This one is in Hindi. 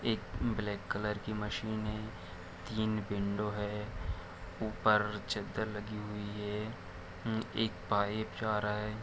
एक ब्लैक कलर की मशीनें है तिन विंडो है ऊपर चद्दर लगी हुई है हम्म-एक पाइप जा रहा है।